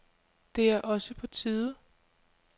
Det er også på tide.